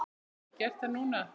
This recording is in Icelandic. Get ég gert það núna?